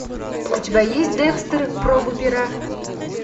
у тебя есть декстер пробы пера